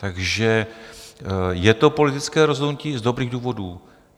Takže je to politické rozhodnutí z dobrých důvodů.